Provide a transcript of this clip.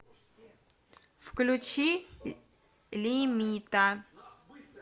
включи лимита